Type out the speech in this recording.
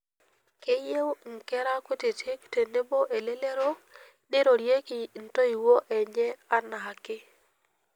Keyieu nkire kutiti tenebo elelero neirorieki ntoiwuo enye anaake.